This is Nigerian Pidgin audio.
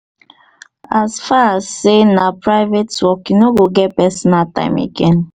as far as sey na private work you no go get pasonal time again.